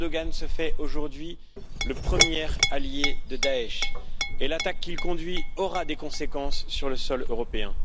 Erdogan se fait aujourd'hui le premier allié de Daech, et l'attaque qu'il conduit aura des conséquences sur le sol européen.